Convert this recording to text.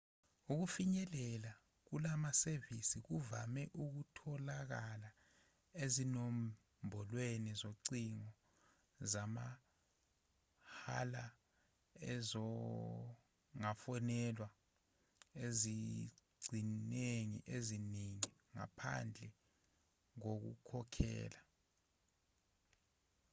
ukufinyelela kulamasevisikuvame ukutholakala ezinombolweni zocingo zamahhalaezingafonelwa ezingcingweni eziningi ngaphandle koku khokhela